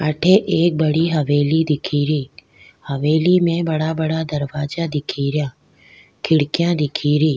अठ एक बड़ी हवेली दिखेरी हवेली में बड़ा बड़ा दरवाजा दिखे रा खिड़कियां दिखेरी।